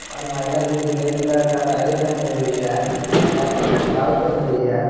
और महिला जो की रेड कलर का साड़ी पहनी हुई है और ब्लैक कलर का ब्लाउज पहनी हुई है।